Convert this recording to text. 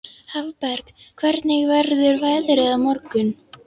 Hafberg, hvernig verður veðrið á morgun?